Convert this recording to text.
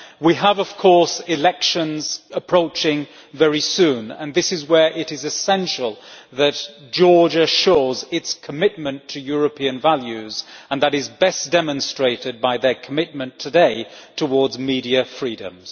We have, of course, elections approaching very soon, and this is where it is essential that Georgia shows its commitment to European values, and that is best demonstrated by their commitment today to media freedoms.